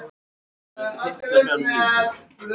Allt í einu er hann staðinn upp.